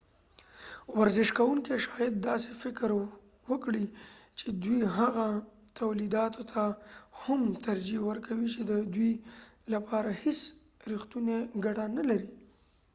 ورزش کوونکې شاید داسې فکر وکړي چې دوي هغه تولیداتو ته هم ترجېح ورکوي چې دوي لپاره هیڅ ریښتونی کټه نه لري